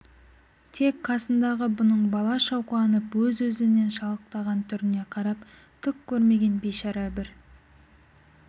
тек қасындағы бұның балаша қуанып өз-өзінен шалықтаған түріне қарап түк көрмеген бейшара бір